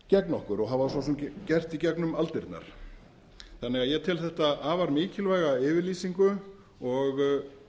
gegn okkur og hafa svo sem gert í gegnum aldirnar ég tel þetta afar mikilvæga yfirlýsingu og